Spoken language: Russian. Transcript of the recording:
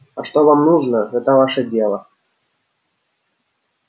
а что вам нужно это ваше дело